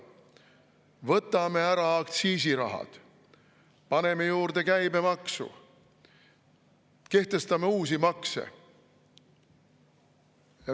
Võtame ära aktsiisiraha, paneme juurde käibemaksu, kehtestame uusi makse.